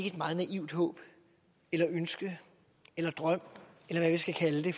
et meget naivt håb eller ønske eller drøm eller hvad vi skal kalde det